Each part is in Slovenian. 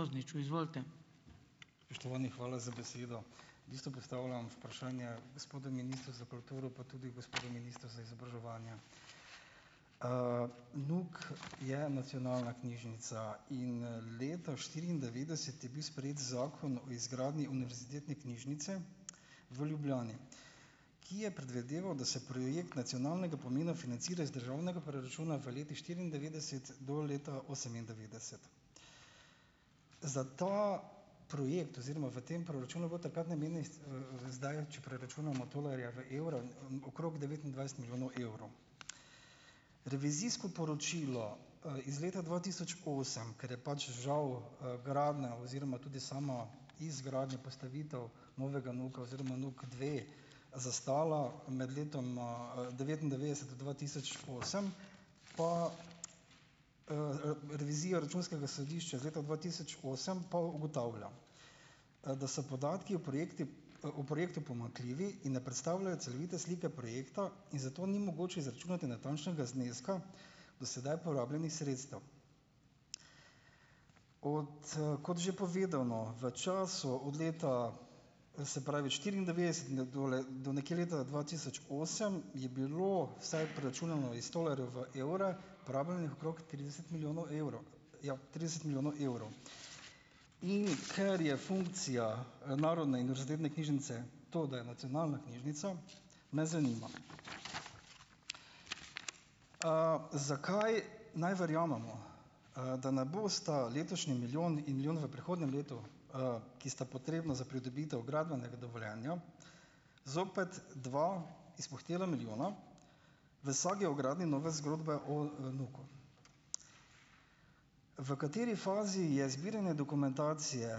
Spoštovani, hvala za besedo. V bistvu postavljam vprašanje gospodu ministru za kulturo pa tudi gospodu ministru za izobraževanje. NUK je nacionalna knjižnica in leta štiriindevetdeset je bil sprejet zakon o izgradnji Univerzitetne knjižnice v Ljubljani, ki je predvideval, da se projekt nacionalnega pomena financira iz državnega proračuna v letih štiriindevetdeset do leta osemindevetdeset. Za ta projekt oziroma v tem proračunu je bilo takrat namenjenih, zdaj če preračunam tolarje v evre, okrog devetindvajset milijonov evrov. Revizijsko poročilo, iz leta dva tisoč osem, ker je pač žal, gradnja oziroma tudi sama izgradnja, postavitev novega NUK-a oziroma NUK dve zastala med letoma, devetindevetdeset do dva tisoč osem, pa, revizija računskega sodišča iz leta dva tisoč osem pa ugotavlja, da so podatki o projekti, o projektu pomanjkljivi, in da predstavljajo celovite slike projekta in zato ni mogoče izračunati natančnega zneska do sedaj porabljenih sredstev. Od, kot že povedano, v času od leta, se pravi štiriindevetdeset do nekje leta dva tisoč osem, je bilo vsaj, preračunano iz tolarjev v evre, porabljenih okrog trideset milijonov evrov. Ja, trideset milijonov evrov. In ker je funkcija, Narodne in univerzitetne knjižnice to, da je nacionalna knjižnica me zanima, zakaj naj verjamemo,, da ne bosta letošnji milijon in milijon v prihodnjem letu, ki sta potrebna za pridobitev gradbenega dovoljenja, zopet dva izpuhtela milijona v sagi o gradnji nove zgodbe o NUK-u. V kateri fazi je zbiranje dokumentacije,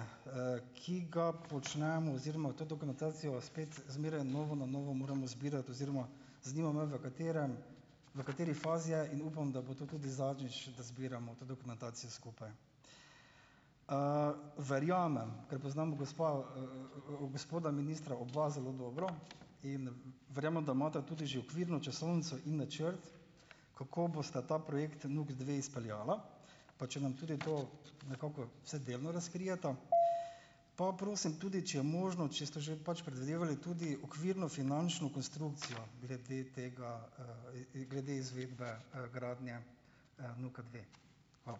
ki ga počnemo, oziroma v to dokumentacijo, spet zmeraj na novo in na novo moramo zbirati, oziroma zanima me, v katerem v kateri fazi je, in upam, da bo to tudi zadnjič, da zbiramo to dokumentacijo skupaj. Verjamem, ker poznamo gospa, gospoda ministra oba zelo dobro, in verjamem, da imata tudi že okvirno časovnico in načrt, kako bosta ta projekt NUK dve izpeljala, pa če nam tudi to nekako vsaj delno razkrijeta. Pa prosim tudi, če je možno, če ste že pač predvidevali tudi okvirno finančno konstrukcijo glede tega, glede izvedbe, gradnje, NUK-a dve? Hvala.